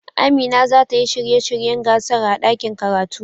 Amina za ta yi shirye shiryen gasar a ɗakin karatu.